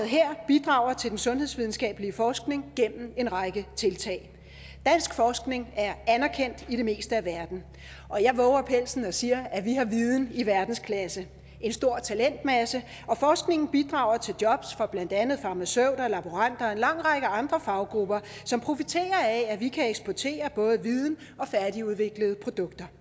her bidrager til den sundhedsvidenskabelige forskning gennem en række tiltag dansk forskning er anerkendt i det meste af verden og jeg vover pelsen og siger at vi har viden i verdensklasse en stor talentmasse og forskningen bidrager til jobs for blandt andet farmaceuter laboranter og en lang række andre faggrupper som profiterer af at vi kan eksportere både viden og færdigudviklede produkter